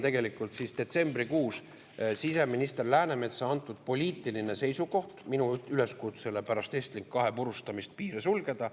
Tähendab, see on detsembrikuus siseminister Läänemetsa antud poliitiline seisukoht minu üleskutsele pärast Estlink 2 purustamist piir sulgeda.